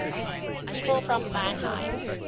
people from mannheim